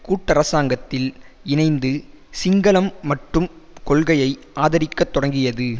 கூட்டரசாங்கத்தில் இணைந்து சிங்களம் மட்டும் கொள்கையை ஆதரிக்கத் தொடங்கியது